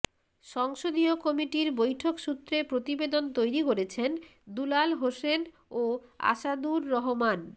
সংসদীয় কমিটির বৈঠকসূত্রে প্রতিবেদন তৈরি করেছেন দুলাল হোসেন ও আসাদুর রহমান